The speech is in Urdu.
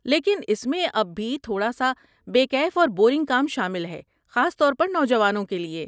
لیکن، اس میں اب بھی تھوڑا سا بے کیف اور بورنگ کام شامل ہے، خاص طور پر نوجوانوں کے لیے۔